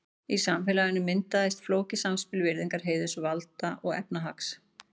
Í samfélaginu myndaðist flókið samspil virðingar, heiðurs, valda og efnahags.